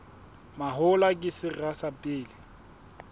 mahola ke sera sa pele